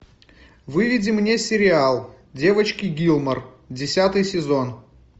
выведи мне сериал девочки гилмор десятый сезон